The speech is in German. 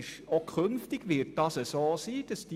Auch künftig wird das so sein.